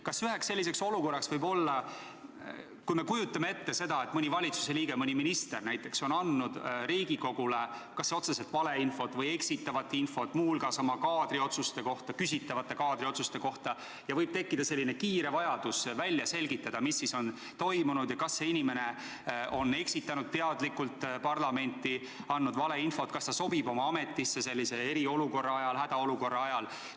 Kas üheks selliseks olukorraks võib olla see, kujutame ette, et mõni valitsuse liige, mõni minister näiteks on andnud Riigikogule kas otseselt valeinfot või eksitavat infot, muu hulgas oma küsitavate kaadriotsuste kohta, ja võib tekkida kiire vajadus välja selgitada, mis siis on toimunud ja kas see inimene on eksitanud teadlikult parlamenti, andnud valeinfot, kas ta sobib oma ametisse eriolukorra ajal, hädaolukorra ajal?